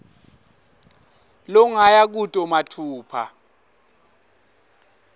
longaya kuto matfupha